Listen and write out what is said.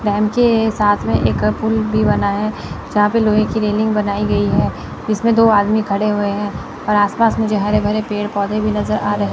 के साथ में एक पुल भी बना है जहां पे लोहे की रेलिंग बनाई गई है इसमें दो आदमी खड़े हुए हैं और आसपास मुझे हरे भरे पेड़ पौधे भी नजर आ रहे--